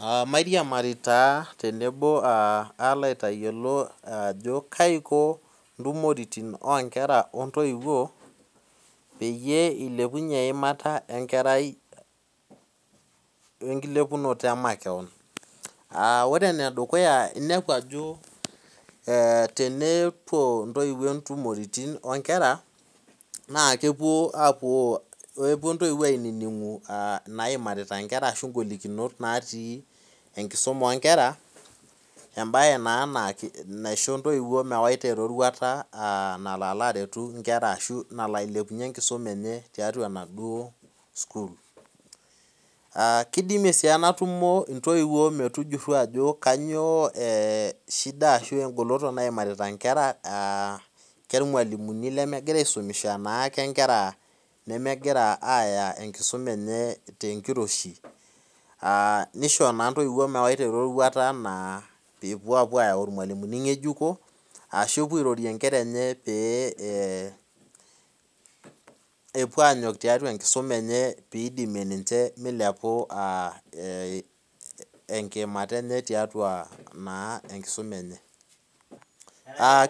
Aa mairiamari tenebo kalo aitayiolo ajo kaiko ntumoritin onkera ontiwuo peilepunye enkiimata enkerai wenkilepuno emakeon aa ore enedukuya inepu ajo ee tenepuo ntoiwuo ntumoritin onkwra na kepuo ntoiwuo aimaki ngolikinot natii enkisuma onkera embae na naisho ntoiwuo mewaita eroruata nalo ailepunye enkisuma enye tiatua enaduo sukul kidimie si enatumo ntoiwuo metujuru ajo kanyio shida ashu engoloto naimarita nkera karmalimuni lemegira aisuma ana nkera nemegir aya enkisuma enye tenkiroshi nisho ntoiwuo mewaita eroruata pee epuo anyok tiatua enkusuma enye na iatua enkisuma enye